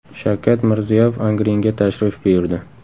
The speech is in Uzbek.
Shavkat Mirziyoyev Angrenga tashrif buyurdi.